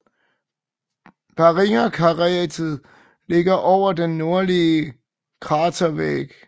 Barringerkrateret ligger over den nordlige kratervæg